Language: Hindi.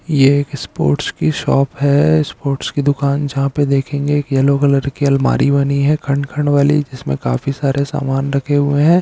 यह एक स्पोर्ट्स की शॉप है स्पोर्ट्स की दुकान जहाँ पर देखेंगे एक येलो कलर की अलमारी बनी हुई है खंड-खंड वाली जिसमें काफी सारा समान रखे हुए हैं।